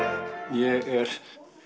ég er